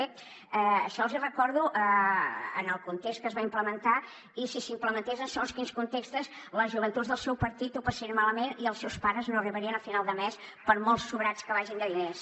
bé això els hi recordo en el context que es va implementar i si s’implementés en segons quins contextos les joventuts del seu partit ho passarien malament i els seus pares no arribarien a final de mes per molt sobrats que vagin de diners